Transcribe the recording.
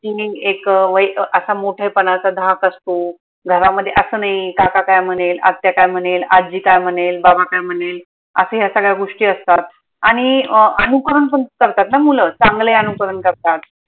किनी एक वै असा मोठेपणाचा धाक असतो घरामध्ये असं नाई काका काय म्हनेल? आत्या काय म्हनेल? आज्जी काय म्हनेल? बाबा काय म्हनेल? आखिर या सगळ्या गोष्टी असतात आनि अं अनुकरण पन करतात ना मुल चांगले अनुकरण करतात